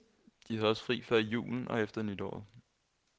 De havde også fri før julen og efter nytåret.